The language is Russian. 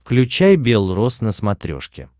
включай белрос на смотрешке